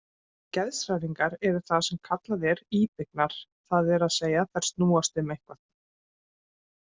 Geðshræringar eru það sem kallað er íbyggnar, það er að segja þær snúast um eitthvað.